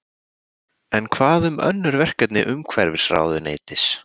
En hvað um önnur verkefni umhverfisráðuneytis?